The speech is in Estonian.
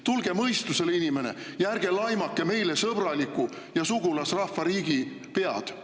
Tulge mõistusele, inimene, ja ärge laimake meiega sõbraliku ja sugulasrahva riigi pead!